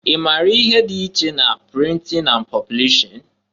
I mara ihe dị iche na printin na poblishin?